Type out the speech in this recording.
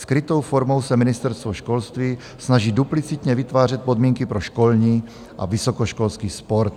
Skrytou formou se ministerstvo školství snaží duplicitně vytvářet podmínky pro školní a vysokoškolský sport.